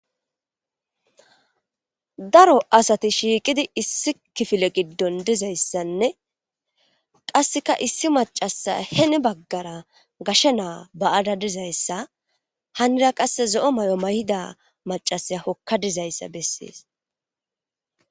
Daro asathi shiiqi issi kifile giddon dizayssanne qassika issi maccassa hini baggara gashe na7aa ba7ada dizayssa hanira qassi zo7o mayo mayida maccasiya hokka dizayssa bessees.